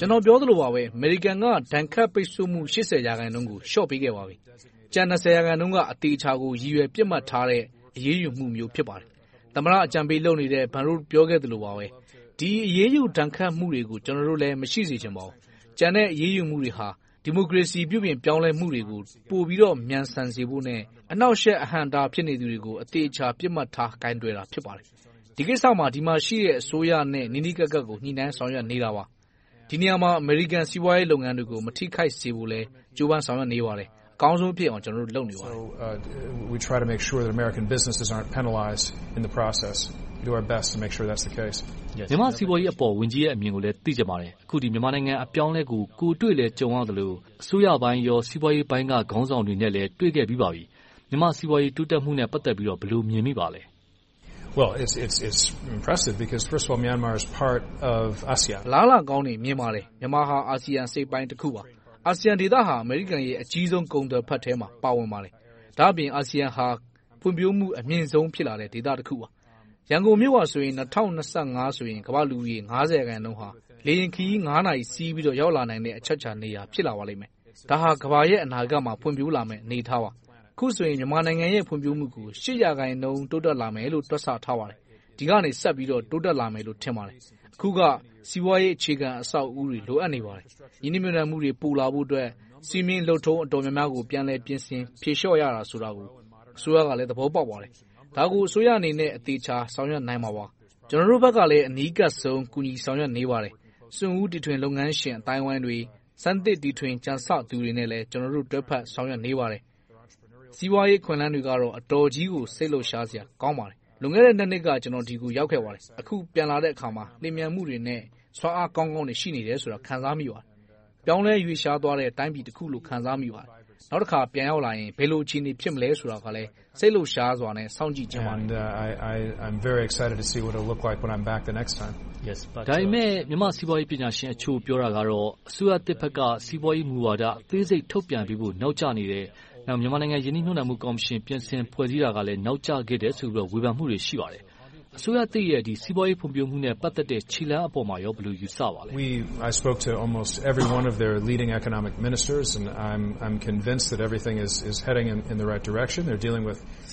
ကျနော် ပြောသလိုပါပဲ အမေရိကန်က ဒဏ်ခတ်ပိတ်စို့မှု ရာခိုင်နှုန်းကို လျှော့ပေးခဲ့ပါပြီ။ ကျန် ရာခိုင်နှုန်းက အသေအချာကို ရည်ရွယ်ပစ်မှတ်ထားတဲ့ အရေးယူမှုမျိုုး ဖြစ်ပါတယ်။ သမ္မတအကြံပေးလုပ်နေတဲ့ Baron ပြောခဲ့သလိုပါပဲ ဒီအရေးယူဒဏ်ခတ်မှုတွေကို ကျနော်တို့လည်း မရှိစေချင်ပါဘူး။ ကျန်တဲ့ အရေးယူမှုတွေဟာ ဒီမိုကရေစီ ပြုပြင်ပြောင်းလဲမှုတွေကို ပိုပြီးတော့ မြန်ဆန်စေဖို့နဲ့ အနှောင့်အယှက် အဟန့်အတား ဖြစ်နေသူတွေကို အသေအချာ ပစ်မှတ်ထား ကိုင်တွယ်ခဲ့တာ ဖြစ်ပါတယ်။ ဒီကိစ္စမှာ ဒီမှာရှိတဲ့ အစိုးရနဲ့ နီးနီးကပ်ကပ်ကို ညှိနှိုင်းဆောင်ရွက်နေတာပါ။ ဒီနေရာမှာ အမေရိကန် စီးပွားရေး လုပ်ငန်းတွေကို မထိခိုက်စေဖို့လည်း ကြိုးပမ်းဆောင်ရွက်နေပါတယ်။ အကောင်းဆုံးဖြစ်အောင် ကျနော်တို့ လုပ်နေပါတယ်။ မြန်မာ့စီးပွားရေးအပေါ် ဝန်ကြီးရဲ့အမြင်ကိုလည်း သိချင်ပါတယ်။ အခု မြန်မာနိုင်ငံ အပြောင်းအလဲကို ကိုယ်တွေ့ကြုံရသလို အစိုးရပိုင်း၊ စီးပွားရေးပိုင်းက ခေါင်းဆောင်တွေနဲ့လည်း တွေ့ခဲ့ပြီပါပြီ။ မြန်မာ့စီးပွားရေး တိုးတက်မှုနဲ့ ပတ်သက်ပြီး ဘယ်လို မြင်မိပါလဲ။ အလားအလာကောင်းတွေ မြင်ပါတယ်။ မြန်မာဟာ အာဆီယံအစိတ်အပိုင်းတခုပါ။ အာဆီယံဒေသဟာ အမေရိကန်ပြည်ထောင်စုရဲ့ အကြီးဆုံးကုန်သွယ်ဖက်ထဲမှာ ပါဝင်ပါတယ်။ ဒါ့အပြင် အာဆီယံဟာ ဖွံ့ဖြိုးမှုအမြင်ဆုံး ဖြစ်လာတဲ့ ဒေသတခုပါ။ ရန်ကုန်မြို့ဟာ ၂၀၂၅ ဆိုရင် ကမ္ဘာ့လူဦးရေ ရာခိုင်နှုန်းဟာ လေယာဉ်ခရီး နာရီ စီးပြီးတော့ ရောက်လာနိုင်မယ့် အချက်အချာနေရာ ဖြစ်လာပါလိမ့်မယ်။ ဒါဟာ ကမ္ဘာရဲ့ အနာဂတ်မှာ ဖွံ့ဖြိုးလာမယ့် အနေအထားပါ။ အခုဆိုရင် မြန်မာနိုင်ငံရဲ့ ဖွံ့ဖြိုးမှုကို ရာခိုင်နှုန်း တိုးတက်လာမယ်လို့ တွက်ဆထားပါတယ်။ ဒီကနေ ဆက်ပြီးတော့ တိုးတက်လာမယ်လို့ ထင်ပါတယ်။ အခုက စီးပွားရေးအခြေခံ အဆောက်အဦး လိုအပ်နေပါတယ်။ ရင်းနှီးမြှုပ်နံှမှုတွေ တိုးလာဖို့အတွက် စည်းမျဉ်းလုပ်ထုံ တော်တော်များများကို ပြန်လည်ပြင်ဆင်ဖြေလျှော့ရတာ ဆိုတာကို အစိုးရကလည်း သဘောပေါက်ပါတယ်။ ဒါကို အစိုးရအနေနဲ့ သေချာဆောင်ရွက်နိုင်မှာပါ။ ကျနော်တို့ဘက်ကလည်း အနီးကပ်ဆုံး ဆောင်ရွက်နေပါတယ်။ စွန့်ဦးတီထွင်လုပ်ငန်းရှင် အသိုင်းအဝိုင်းတွေ၊ စမ်းသစ်တီထွင်ကြံဆသူတွေနဲ့လည်း ကျနော်တို့ တွဲဘက်ဆောင်ရွက်နေပါတယ်။ စီးပွားရေးအခွင့်အလမ်းတွေကတော့ အတော်ကြီးကို စိတ်လှုပ်ရှားစားစရာ ကောင်းပါတယ်။ လွန်ခဲ့တဲ့ နှစ်က ကျနော် ဒီကိုရောက်ခဲ့ပါတယ်။ အခု ပြန်လာတဲ့အခါမှာ လျင်မြန်မှုတွေနဲ့ စွမ်းအားကောင်းကောင်းတွေ ရှိနေတယ်ဆိုတာကို ခံစားမိပါတယ်။ ပြောင်းလဲရွေ့လျှားနေတဲ့ တိုင်းပြည်တခုလို့ ခံစားမိပါတယ်။ နောက်တခါ ပြန်ရောက်လာရင် ဘယ်လို အခြေအနေရှိမလဲဆိုတာကလည်း စိတ်လှုပ်ရှားစွာနဲ့ စောင့်ကြည့်ချင်ပါတယ်။ ဒါပေမဲ့ မြန်မာ့စီးပွားရေးပညာရှင် တချို့ပြောတာကတော့ အစိုးရသစ်ဘက်က စီးပွားရေးမူဝါဒ အသေးစိတ်ထုတ်ပြန်ပေးဖို့ နောက်ကျနေတယ်။ နောက် မြန်မာနိုင်ငံ ရင်းနှီးမြှုပ်နံှမှု ကော်မရှင် ဖွဲ့စည်းခဲ့တာလည်း နောက်ကျခဲ့တယ်လို့ ဝေဖန်မှုတွေ ရှိနေပါတယ်။ အစိုးရသစ်ရဲ့ စီးပွားရေးဖွံ့ဖြိုးမှုနဲ့ ပတ်သက်တဲ့ ခြေလှမ်းအပေါ် ဘယ်လို ယူဆပါလဲ။